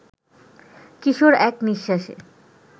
কিশোর এক নিঃশ্বাসে